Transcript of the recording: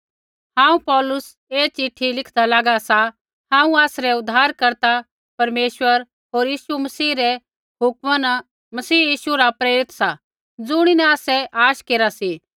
हांऊँ पौलुस ऐ चिट्ठी लिखदा लागा सा हांऊँ आसरै उद्धारकर्ता परमेश्वर होर मसीह यीशु रै हुक्मा न मसीह यीशु रा प्रेरित सा ज़ुणिन आसै आश केरा सी